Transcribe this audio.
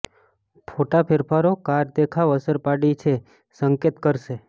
ફોટા ફેરફારો કાર દેખાવ અસર પાડી છે સંકેત કરશે